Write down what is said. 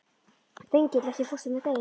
Þengill, ekki fórstu með þeim?